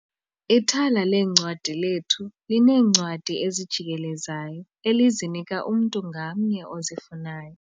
Ithala leencwadi lethu lineencwadi ezijikelezayo elizinika umntu ngamnye ozifunayo.